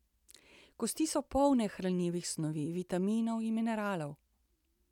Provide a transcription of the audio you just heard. Kosti so polne hranljivih snovi, vitaminov in mineralov.